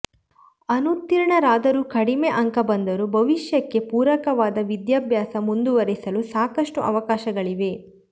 ಅನುತ್ತೀರ್ಣರಾದರೂ ಕಡಿಮೆ ಅಂಕ ಬಂದರೂ ಭವಿಷ್ಯಕ್ಕೆ ಪೂರಕವಾದ ವಿದ್ಯಾಭ್ಯಾಸ ಮುಂದುವರಿಸಲು ಸಾಕಷ್ಟು ಅವಕಾಶಗಳಿವೆ